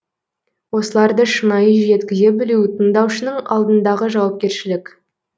осыларды шынайы жеткізе білу тыңдаушының алдындағы жауапкершілік